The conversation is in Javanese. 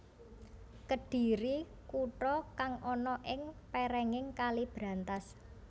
Kedhiri kuta kang ana ing pèrènging Kali Brantas